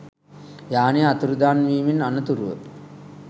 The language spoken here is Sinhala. යානය අතුරුදන්වීමෙන් අනතුරුව